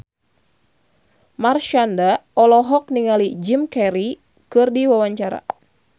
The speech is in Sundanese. Marshanda olohok ningali Jim Carey keur diwawancara